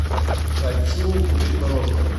хочу купить мороженое